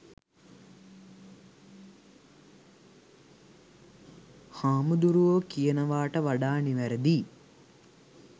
'හාමුදුරුවො' කියනවාට වඩා නිවැරදියි.